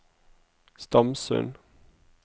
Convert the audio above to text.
Stamsund